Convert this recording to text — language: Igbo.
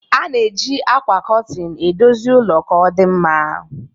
A na-eji ákwà kurtin edozi ụlọ ka ọdịmma